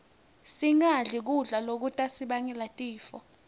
singadli kudla lokutasibangela tifo